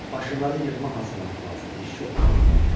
Başınları yığma hazırlamaq lazımdır, iş çoxdur.